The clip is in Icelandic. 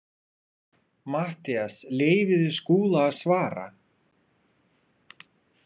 MATTHÍAS: Leyfið þið Skúla að svara.